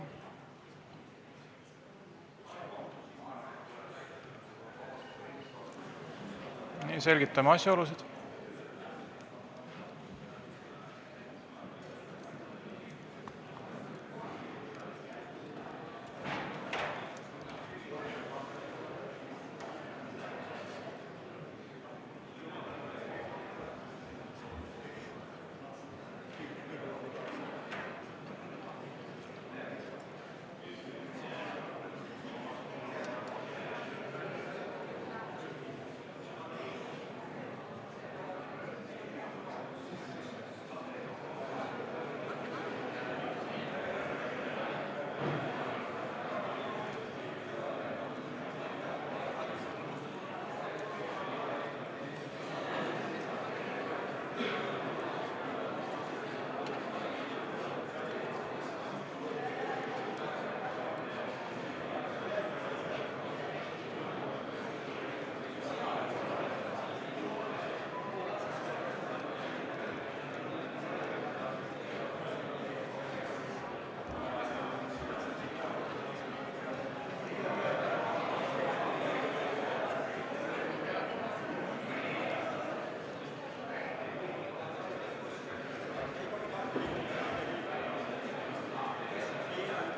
Me selgitame asjaolusid.